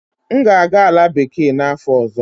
M ga-aga Ala bekee n'afọ ọzọ.